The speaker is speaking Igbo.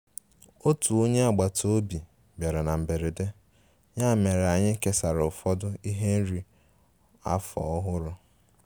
Otu onye agbata obi biara na mberede, ya mere anyị kesara ụfọdụ ihe oriri afọ ọhụrụ